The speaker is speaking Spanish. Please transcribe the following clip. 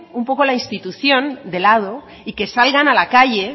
un poco la institución de lado y que salgan a la calle